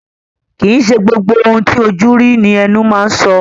Kìí ṣe gbogbo ohun ti ojú rí ní ẹnu máa ń so.